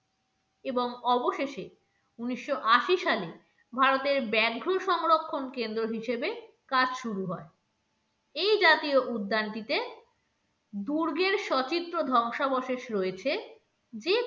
এবং অবশেষে উনিশশো আশি সালে ভারতের ব্যাঘ্র সংরক্ষণ কেন্দ্র হিসেবে কাজ শুরু হয় এই জাতীয় উদ্যানটিতে দুর্গের সচিত্র ধ্বংসাবশেষ রয়েছে যে,